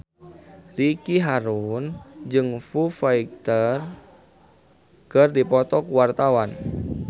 Ricky Harun jeung Foo Fighter keur dipoto ku wartawan